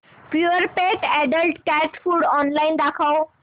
Purepet adult cat food online दाखव